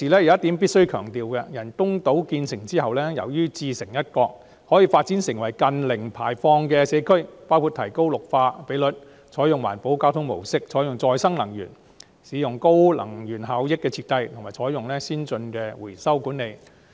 我必須強調的是，由於人工島自成一角，可以發展成近零碳排放的社區，包括提高綠化比率、採用環保交通模式、採用再生能源、使用高能源效益的設計，以及採用先進的回收管理措施。